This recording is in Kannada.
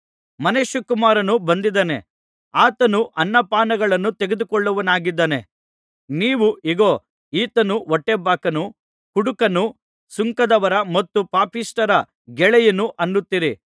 ಮನುಷ್ಯಕುಮಾರನು ಬಂದಿದ್ದಾನೆ ಆತನು ಅನ್ನ ಪಾನಗಳನ್ನು ತೆಗೆದುಕೊಳ್ಳುವವನಾಗಿದ್ದಾನೆ ನೀವು ಇಗೋ ಈತನು ಹೊಟ್ಟೆಬಾಕನು ಕುಡುಕನು ಸುಂಕದವರ ಮತ್ತು ಪಾಪಿಷ್ಠರ ಗೆಳೆಯನು ಅನ್ನುತ್ತೀರಿ